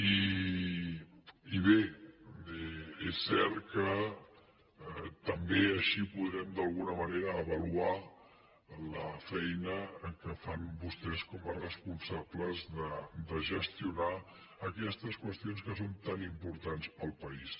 i bé és cert que també així podrem d’alguna manera avaluar la feina que fan vostès com a responsables de gestionar aquestes qüestions que són tan importants per al país